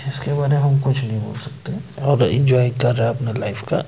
इसके बारे में हम कुछ नहीं बोल सकते और एंजॉय कर रहा है अपना लाइफ का--